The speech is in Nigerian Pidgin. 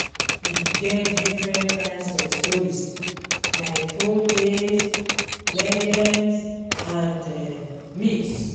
E get different kinds of stories, like folktales, legends, and um myths